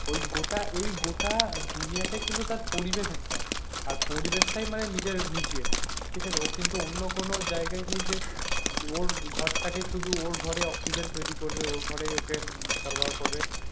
ওই গোটা এই গোটা দুনিয়াটা কিন্তু তার পরিবেশ একটা আর পরিবেশটাই নিজের নিজের ঠিক আছে ও কিন্তু অন্য কোনো জায়গাই নেই যে ওর ঘরটাকে শুধু ওর ঘরে অক্সিজেন তৈরি করবে ওর ঘরেই ওকে সর্বরাহ করবে